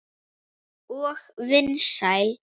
Og vinsæl.